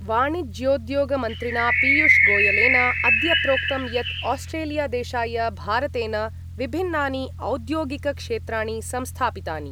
वाणिज्योद्योगमन्त्रिणा पीयूषगोयलेन अद्य प्रोक्तं यत् आस्ट्रेलिया देशाय भारतेन विभिन्नानि औद्योगिकक्षेत्राणि संस्थापितानि